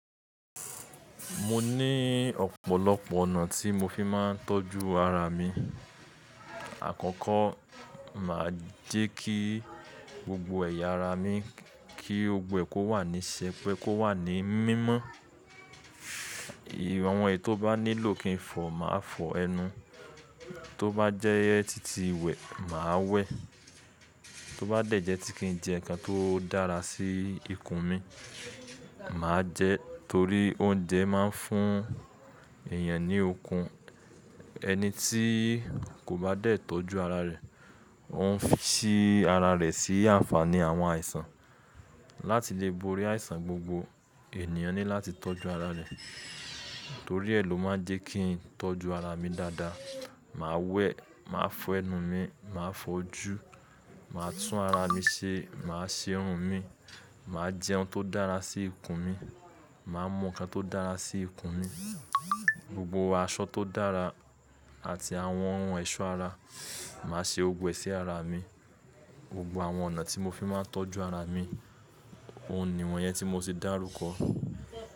Mo ní ọ̀pọ̀lọpọ̀ ọ̀nà tí mo fi máa ń tọ́jú ara mi. Àkọ́kọ́ mà á jẹ́ kí gbogbo ẹ̀yà ara mi kí gbogbo ẹ̀ kó wà ní sẹpẹ́, kó wà ní mímọ́. Awọ́n ẹyí tó bá nílò kí n fọ̀ máa fọ ẹnu. Tó bá jẹ́ títí iwẹ, mà á wẹ. Tó bá dẹ̀jẹ́ tí kí n jẹ nnkan tó dára sí ikùn mi, mà á jẹ, torí oúnjẹ máa ń fún èèyàn ní okun. Ẹni tí kò bá dẹ̀ tọ́jú ara rẹ̀, òun ń fi ara rẹ̀ sí àǹfààní àwọn àìsàn. Láti lè borí àìsàn gbogbo, ènìyàn ní láti tọ́jú ara rẹ̀. Torí ẹ ló máa jẹ́ kí n tọ́jú ara mi dáadáa. Mà á wẹ, mà á fọ ẹnu mi, mà á fojú, mà á tún ara mi ṣe, mà á ṣe irun mi, mà á jẹ ohun tó dára sí ikùn mi, mà á mu nǹkan tó dára sí ikùn mi. Gbogbo aṣọ tó dára àti àwọn ohun ẹ̀ṣọ́ ara, mà á ṣe gbogbo ẹ sí ara mi. Gbogbo àwọn ọ̀nà tí mo fi máa ń tọ́jú ara mi, òun ni wọ́n yẹn tí mo ti dárúkọ.